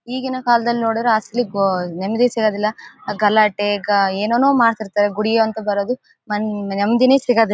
ಈಗಿನ ಕಾಲದಲ್ಲಿ ನೋಡಿದ್ರೆ ಅಸಲಿ ನಿಮ್ಮದೇ ಸಿಗೋದಿಲ್ಲ ಗಲಾಟೆ ಗ ಏನೇನೋ ಮಾಡ್ತಿರ್ತಾರೆ ಗುಡಿ ಅಂತ ಬರೋದು ನೆಮ್ಮದಿನೇ ಸಿಗೋದಿಲ್ಲ.